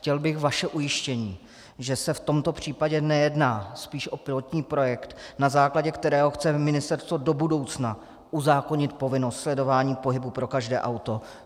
Chtěl bych vaše ujištění, že se v tomto případě nejedná spíš o pilotní projekt, na základě kterého chce ministerstvo do budoucna uzákonit povinnost sledování pohybu pro každé auto.